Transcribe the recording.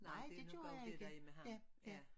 Nej det gjorde jeg ikke ja ja